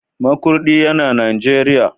Makurdi yana Najeriya.